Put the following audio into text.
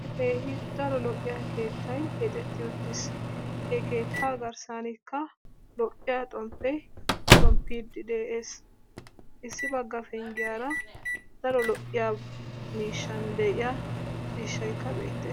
keehi daro lo'iyaa keettay keexetti uttiss he keetta garssanika lo'iyaa xonpee xonpiiddi de'es issi bagga penggiyaara daro lo'yaa, miishan de'iyaa ciishaykka beettes.